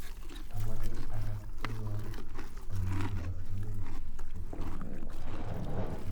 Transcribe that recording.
Amache agaas tyenwogikab olegilosunen cheptailel